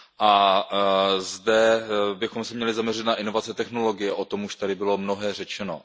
A zde bychom se měli zaměřit na invaze technologie, o tom už tady bylo mnohé řečeno.